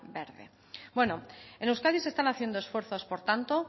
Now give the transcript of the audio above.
verde bueno en euskadi se están haciendo esfuerzos por tanto